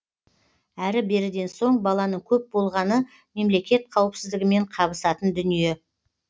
әрі беріден соң баланың көп болғаны мемлекет қауіпсіздігімен қабысатын дүние